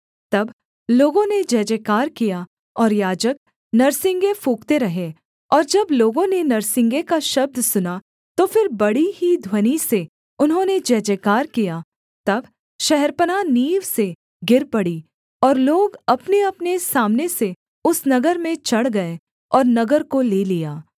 तब लोगों ने जयजयकार किया और याजक नरसिंगे फूँकते रहे और जब लोगों ने नरसिंगे का शब्द सुना तो फिर बड़ी ही ध्वनि से उन्होंने जयजयकार किया तब शहरपनाह नींव से गिर पड़ी और लोग अपनेअपने सामने से उस नगर में चढ़ गए और नगर को ले लिया